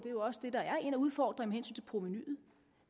er jo også det der er en af udfordringerne til provenuet